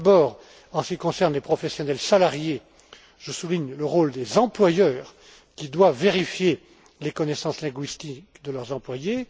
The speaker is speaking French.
D'abord, en ce qui concerne les professionnels salariés, je souligne le rôle des employeurs qui doivent vérifier les connaissances linguistiques de leurs employés